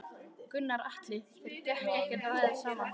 Gunnar Atli: Þeir geta ekki rætt saman?